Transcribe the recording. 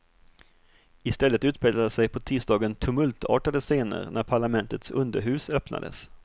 I stället utspelade sig på tisdagen tumultartade scener när parlamentets underhus öppnades.